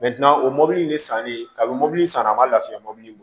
o mobili in ne sanlen ka mobili san a man lafiya mɔbili